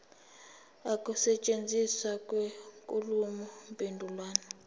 ukusetshenziswa kwenkulumo mpendulwano